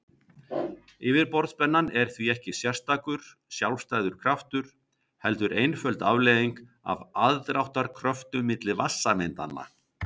Yfirborðsspennan er því ekki sérstakur, sjálfstæður kraftur heldur einföld afleiðing af aðdráttarkröftum milli vatnssameindanna.